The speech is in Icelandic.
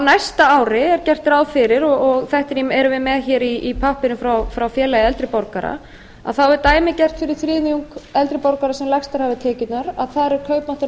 næsta ári er gert fyrir og þetta erum við með hér í pappírum frá félagi eldri borgara þá er dæmigert fyrir þriðjung eldri borgara sem lægstar hafa tekjurnar að þar er